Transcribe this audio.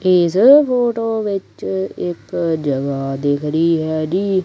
Age photo ਵਿੱਚ ਇੱਕ ਜਗਾ ਦਿਖ ਰਹੀ ਹੈਗੀ।